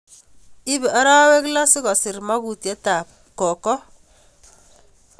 Ipe arawek loo sikorur magotiet ab koko